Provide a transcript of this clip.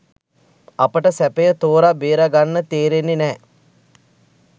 අපට සැපය තෝර බේරගන්න තේරෙන්නේ නැහැ.